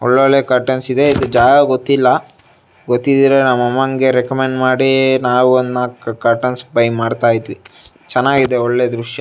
ಒಳ್ ಒಳ್ಳೆ ಕಟುರ್ನ್ಸ್ ಇದೆ ಇದ್ ಜಾಗ ಗೊತ್ತಿಲ್ಲ ಗೊತಿದ್ರೆ ನಮ್ ಅಮ್ಮಂಗೆ ರೆಕಮೆಂಡ್ ಮಾಡಿ ನಾವ್ ಒಂದ್ ನಾಲ್ಕ್ ಬಯ್ ಮಾಡ್ತಾ ಇದ್ವಿ. ಚೆನ್ನಾಗಿದೆ ಒಳ್ಳೆ ದೃಶ್ಯ.